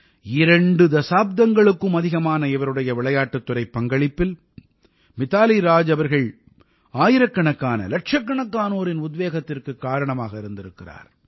இரண்டு தசாப்தங்களுக்கும் அதிகமான இவருடைய விளையாட்டுத் துறைப் பங்களிப்பில் மித்தாலி ராஜ் அவர்கள் ஆயிரக்கணக்கானஇலட்சக்கணக்கானோரின் உத்வேகத்திற்குக் காரணமாக இருந்திருக்கிறார்